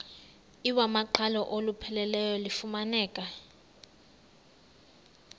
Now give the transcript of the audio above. iwamaqhalo olupheleleyo lufumaneka